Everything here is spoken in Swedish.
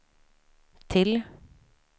till